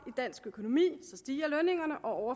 dansk økonomi stiger lønningerne og